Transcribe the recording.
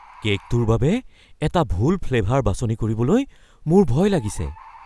কে'কটোৰ বাবে এটা ভুল ফ্লেভাৰ বাছনি কৰিবলৈ মোৰ ভয় লাগিছে।